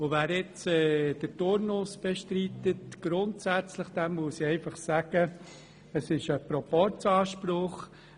Wer jetzt grundsätzlich den Turnus bestreitet, dem muss ich Folgendes sagen: Es ist ein Proporzanspruch.